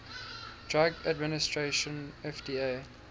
drug administration fda